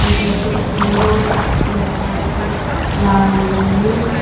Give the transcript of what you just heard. দুটো সুন্দর কুর্তি রাখা আছে লাল এবং নীল।